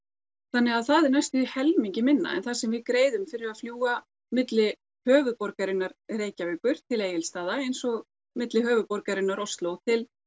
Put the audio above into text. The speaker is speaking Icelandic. þannig að það er næstum því helmingi minna en það sem við greiðum fyrir að fljúga milli höfuðborgarinnar Reykjavíkur til Egilsstaða eins og milli höfuðborgarinnar Osló til